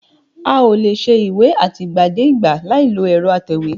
A ò lè ṣe ìwé àtìgbàdégbà láìlo ẹ̀rọ atẹ̀wé